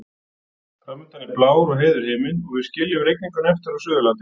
Fram undan er blár og heiður himinn og við skiljum rigninguna eftir á Suðurlandi.